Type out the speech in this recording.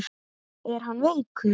Var hann veikur?